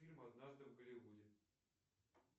фильм однажды в голливуде